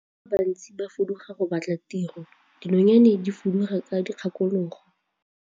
Batho ba bantsi ba fuduga go batla tiro, dinonyane di fuduga ka dikgakologo.